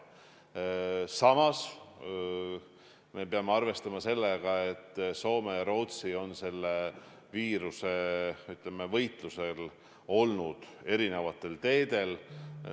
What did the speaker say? Samas peame arvestama sellega, et Soome ja Rootsi on selle viiruse vastu võitlemisel olnud erinevatel teedel.